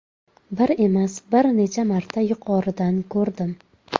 Bir emas, bir necha marta yuqoridan ko‘rdim.